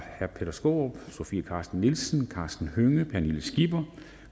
peter skaarup sofie carsten nielsen karsten hønge pernille skipper